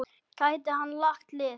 Gæti hann lagt lið?